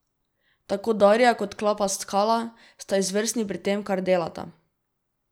Tako Darja kot klapa Skala sta izvrstni pri tem, kar delata.